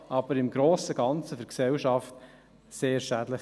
Aber im Grossen und Ganzen ist es für die Gesellschaft sehr schädlich.